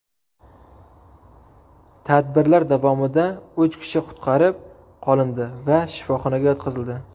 Tadbirlar davomida uch kishi qutqarib qolindi va shifoxonaga yotqizildi.